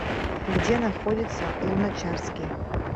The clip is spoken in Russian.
где находится луначарский